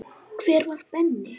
Hver var Benni?